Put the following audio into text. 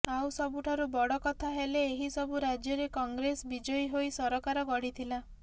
ଆଉ ସବୁଠାରୁ ବଡ଼ କଥା ହେଲେ ଏହି ସବୁ ରାଜ୍ୟରେ କଂଗ୍ରେସ ବିଜୟୀ ହୋଇ ସରକାର ଗଢ଼ିଥିଲା